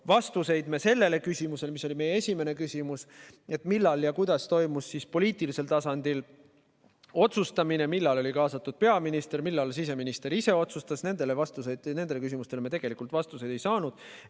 Vastuseid me sellele, mis oli meie esimene küsimus – millal ja kuidas toimus poliitilisel tasandil otsustamine, millal oli kaasatud peaminister, millal siseminister ise otsustas –, me tegelikult ei saanud.